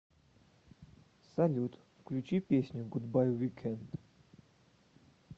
салют включи песню гудбай викенд